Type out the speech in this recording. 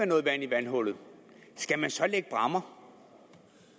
noget vand i vandhullet skal man så lægge bræmmer